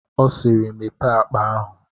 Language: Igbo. Ọ siiri, Mepee akpa ahụ!